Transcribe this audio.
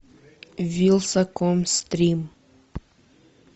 вилсаком стрим